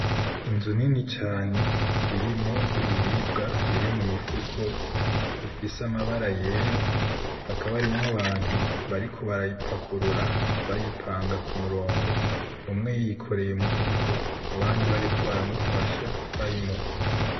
Inzu nini cane irimwo ibiribwa biri mu mifuko ifise amabara yera hakaba harimwo ahantu bariko barayipakurura bayipanga kumurongo, umwe yikoreye umufuko abandi bariko baramufasha bayimuha.